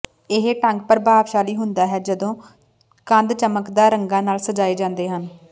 ਇਹ ਢੰਗ ਪ੍ਰਭਾਵਸ਼ਾਲੀ ਹੁੰਦਾ ਹੈ ਜਦੋਂ ਕੰਧ ਚਮਕਦਾਰ ਰੰਗਾਂ ਨਾਲ ਸਜਾਏ ਜਾਂਦੇ ਹਨ